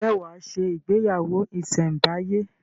Ǹjẹ́ wà á se “ ìgbéyàwó ìsẹ̀ǹbáyé?